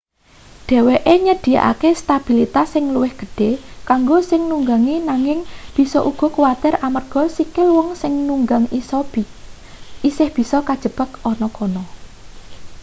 dheweke nyedhiyakake stabilitas sing luwih gedhe kanggo sing nunggangi nanging bisa uga kuwatir amarga sikil wong sing nunggang isih bisa kajebak ana kana